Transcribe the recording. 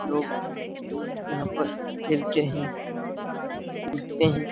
लोग यहाँ पर खेलते हैं कूदते हैं ।